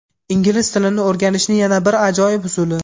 Ingliz tilini o‘rganishni yana bir ajoyib usuli.